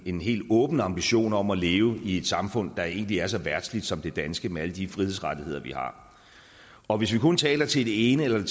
en helt åben ambition om at leve i et samfund der egentlig er så verdsligt som det danske med alle de frihedsrettigheder vi har og hvis vi kun taler til det ene eller